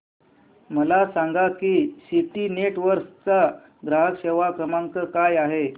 मला सांगा की सिटी नेटवर्क्स चा ग्राहक सेवा क्रमांक काय आहे